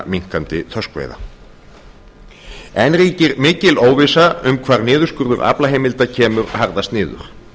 minnkandi þorskveiða enn ríkir mikil óvissa um hvar niðurskurður aflaheimilda kemur harðast niður